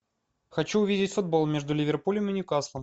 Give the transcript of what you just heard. хочу увидеть футбол между ливерпулем и ньюкаслом